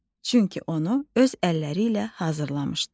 Çünki onu öz əlləri ilə hazırlamışdı.